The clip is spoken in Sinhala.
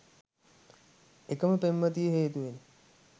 එකම පෙම්වතිය හේතුවෙනි